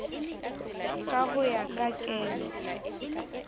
ka ho ya ka kelo